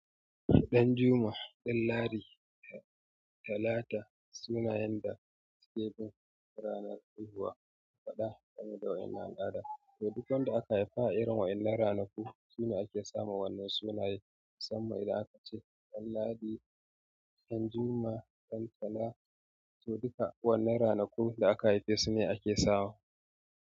Ɗan Juma, Ɗanladi, Talata sunayen da ake bin ranar haihuwa gaba ɗaya da waƴannan al'ada. Eh duk wanda aka sa irin wa innan ranaku shine ake sama irin wannan sunaye. Musamman idan aka ce Danladi, Danjuma, Dantalata to duka wannan ranaku da aka haife su ne ake sawa.